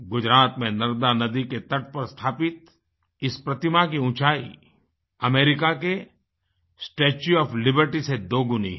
गुजरात में नर्मदा नदी के तट पर स्थापित इस प्रतिमा की ऊँचाई अमेरिका के स्टेच्यू ओएफ लिबर्टी से दो गुनी है